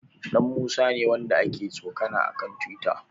Ɗanmusa ne wanda aka tsokana a kan tiwita.